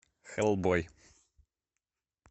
хеллбой